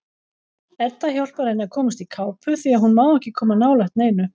Edda hjálpar henni að komast í kápu því að hún má ekki koma nálægt neinu.